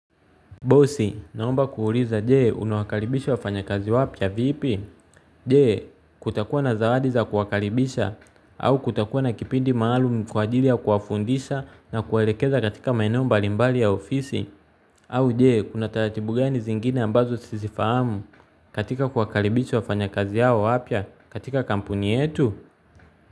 Bosi, naomba kuuliza, je, unawa karibisha wa fanyakazi wapya vipi? Je, kutakuwa na zawadi za kuwakaribisha, au kutakuwa na kipindi maalum kwa ajili ya kuwafundisha na kuwelekeza katika maeneo mbalimbali ya ofisi, au je, kuna taratibu gani zingine ambazo sizifahamu katika kuwa karibisha wafanyakazi hao wapya katika kampuni yetu?